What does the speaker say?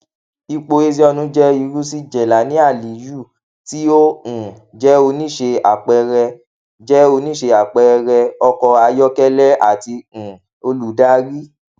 ipo ezeonu jẹ iru si jelani aliyus ti o um jẹ onise apẹẹrẹ jẹ onise apẹẹrẹ ọkọ ayọkẹlẹ ati um oludari